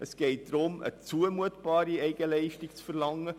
Es geht darum, eine zumutbare Eigenleistung zu verlangen.